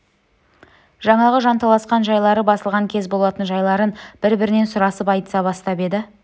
жаңағы жанталасқан жайлары басылған кез болатын жайларын бір-бірінен сұрасып айтыса бастап еді